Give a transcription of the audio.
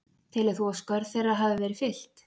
Telur þú að skörð þeirra hafi verið fyllt?